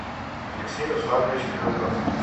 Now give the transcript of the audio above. алексей русланович федоров